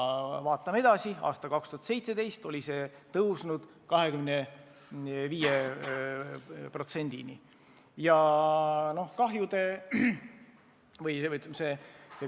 Vaatame edasi: aastal 2017 oli see tõusnud 25%-ni.